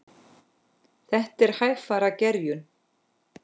Þetta er hægfara gerjun.